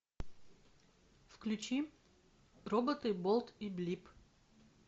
включи роботы болт и блип